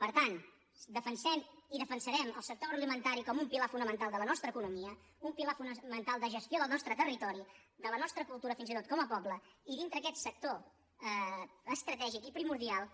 per tant defensem i defensarem el sector agroalimentari com un pilar fonamental de la nostra economia un pilar fonamental de gestió del nostre territori de la nostra cultura fins i tot com a poble i dintre aquest sector estratègic i primordial